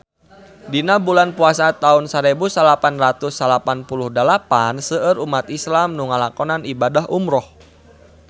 Dina bulan Puasa taun sarebu salapan ratus salapan puluh dalapan seueur umat islam nu ngalakonan ibadah umrah